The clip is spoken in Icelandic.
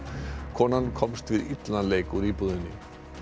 konan komst við illan leik út úr íbúðinni